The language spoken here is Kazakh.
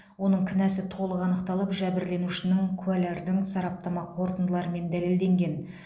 оның кінәсі толық анықталып жәбірленушінің куәлардың сараптама қорытындыларымен дәлелденген